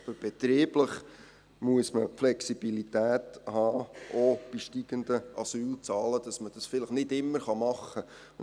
Man muss aber betrieblich Flexibilität haben, auch bei steigenden Asylzahlen, auch wenn man dies vielleicht nicht immer tun kann.